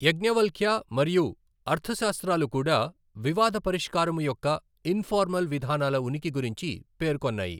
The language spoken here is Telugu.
యజ్ఞవల్క్య మరియు అర్థశాస్త్రాలు కూడా వివాద పరిష్కారము యొక్క ఇన్ఫార్మల్ విధానాల ఉనికి గురించి పేర్కొన్నాయి.